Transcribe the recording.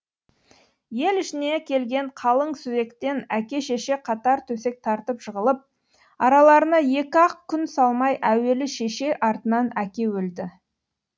ел ішіне келген қалың сүзектен әке шеше қатар төсек тартып жығылып араларына екі ақ күн салмай әуелі шеше артынан әке өлді